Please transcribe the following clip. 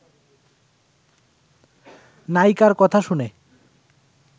নায়িকার কথা শুনে